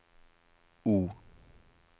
O